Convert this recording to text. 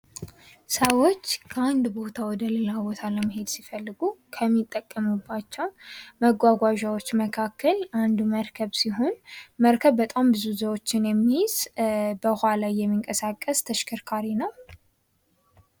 ሰዎች ከአንድ ቦታ ወደሌላ ቦታ ለመሄድ ሲፈልጉ ከሚጠቀሙባቸው መጓጓዣዎች መካከል አንዱ መርከብ ሲሆን መርከብ በጣም ብዙ ሰዎችን የሚይዝ በውሃ ላይ የሚንቀሳቀስ ተሽከርካሪ ነው።